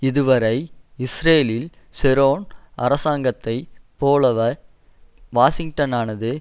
இதுவரை இஸ்ரேலில் ஷெரோன் அரசாங்கத்தை போலவே வாஷிங்டனானது